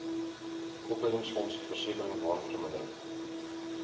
opleidingsfonds versekering waardevermindering